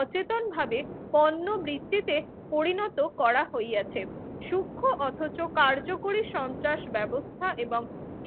অচেতনভাবে পণ্যবৃত্তিতে পরিণত করা হইয়াছে। সূক্ষ্ম অথচ কার্যকরী সন্ত্রাস ব্যবস্থা এবং